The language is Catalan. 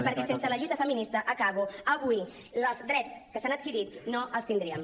i perquè sense la lluita feminista acabo avui els drets que s’han adquirit no els tindríem